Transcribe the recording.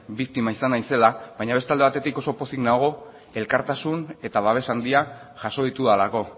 biktima izan naizela baina beste alde batetik oso pozik nago elkartasun eta babes handia jaso ditudalako